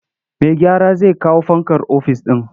Mai gyara zai kawo fankar ofis ɗin.